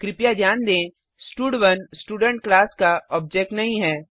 कृपया ध्यान दें स्टड1 स्टूडेंट क्लास का ऑब्जेक्ट नहीं है